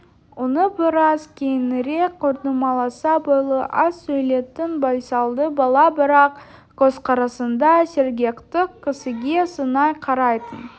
оны біраз кейінірек көрдім аласа бойлы аз сөйлейтін байсалды бала бірақ көзқарасында сергектік кісіге сынай қарайтын